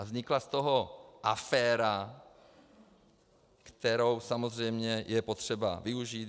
A vznikla z toho aféra, kterou samozřejmě je potřeba využít.